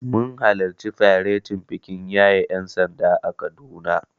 Mun halarci faretin bikin yaye ƴansanda a Kaduna.